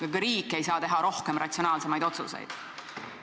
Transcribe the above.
Ja ka riik ei saa teha rohkem ratsionaalseid otsuseid.